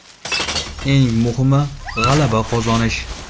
Eng muhimi – g‘alaba qozonish.